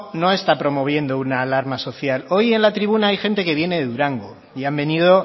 no está promoviendo una alarma social hoy en la tribuna hay gente que viene de durango y han venido